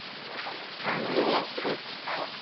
Hann lét sig stækka.